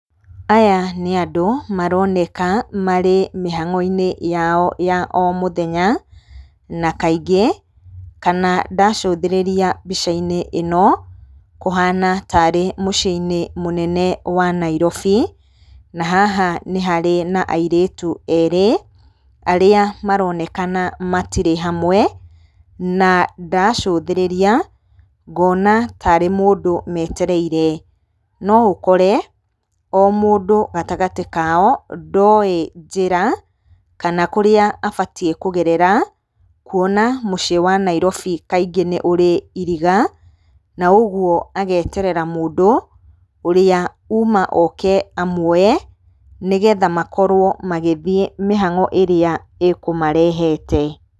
Aya nĩ andũ maroneka marĩ mĩhang'o-inĩ yao ya o mũthenya. Na kaingĩ kana ndacũthĩrĩria mbica-inĩ ĩno, kũhana ta arĩ mũciĩ-inĩ mũnene wa Nairobi. Na haha nĩ harĩ na airĩtu erĩ, arĩa maronekana matirĩ hamwe. Na ndacũthĩrĩria ngona ta arĩ mũndũ metereire. No ũkore o mundũ gatagatĩ kao ndoĩ njĩra, kana kũrĩa abatiĩ kũgerera, kuona mũciĩ wa Nairobi kaingĩ nĩ ũrĩ iriga, na ũguo ageterera mũndũ ũrĩa uma oke amuoye, nĩgetha makorwo magĩthiĩ mĩhang'o ĩrĩa ĩkũmarehete.